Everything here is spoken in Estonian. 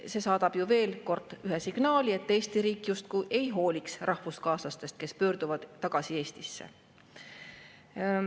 See saadab ju veel kord signaali, et Eesti riik justkui ei hooliks rahvuskaaslastest, kes pöörduvad tagasi Eestisse.